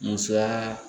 Musoya